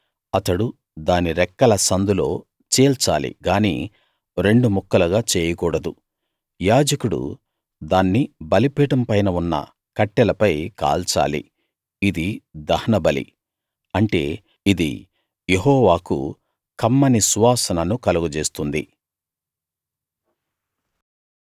అతడు దాని రెక్కల సందులో చీల్చాలి గానీ రెండు ముక్కలుగా చేయకూడదు యాజకుడు దాన్ని బలిపీఠం పైన ఉన్న కట్టెలపై కాల్చాలి ఇది దహనబలి అంటే ఇది యెహోవాకు కమ్మని సువాసనను కలుగజేస్తుంది